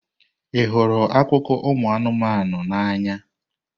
Ị hụrụ akụkọ ụmụ anụmanụ n'anya?